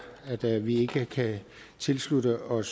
at vi ikke kan tilslutte os